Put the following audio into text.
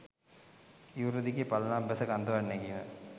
ඉවුර දිගේ පල්ලමක් බැස කන්දක් නැගීම